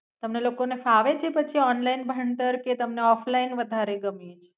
તમને લોકો ને પછી ફાવે છે ઓનલાઇન ભણતર? કે તમને ઓફલાઇન વધારે ગમે છે?